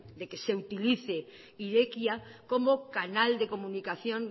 de que se utilice irekia como canal de comunicación